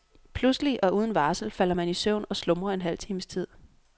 Pludselig og uden varsel falder man i søvn og slumrer en halv times tid.